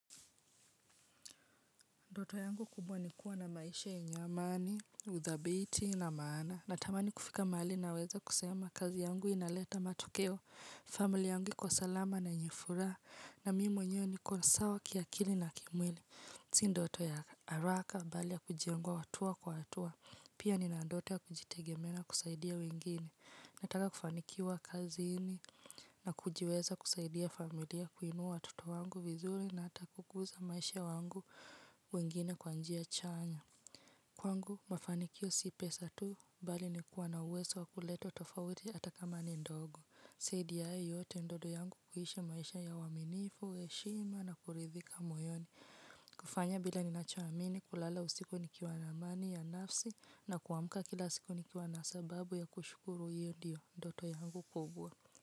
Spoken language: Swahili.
Ndoto yangu kubwa ni kuwa na maisha yenyeamani, uthabiti na maana. Natamani kufika mali naweza kusema kazi yangu inaleta matokeo. Familia yangu iko salama na yenye furaha. Na mimi mwenyewe niko sawa kiakili na kimwili. Sii ndoto ya haraka mbali ya kujengwa hatua kwa hatua. Pia nina ndoto ya kujitegemena kusaidia wengine. Nataka kufanikiwa kazini. Na kujiweza kusaidia familia kuinua watoto wangu vizuri. Na hata kukuza maisha yangu wengine kwa njia chanya. Kwangu mafanikio si pesa tu. Bali ni kuwa na uwezo wa kuleta tofauti hata kama ni ndogo zaidi ya hayo yote ndoto yangu kuishi maisha ya waminifu, heshima na kuridhika moyoni. Kufanya bila ninachoamini kulala usiku nikiwa na amani ya nafsi. Na kuamka kila siku nikiwa na sababu ya kushukuru hiyo ndiyo ndoto yangu kubwa.